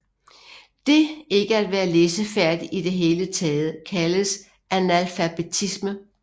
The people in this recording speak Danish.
Det ikke at være læsefærdig i det hele taget kaldes analfabetisme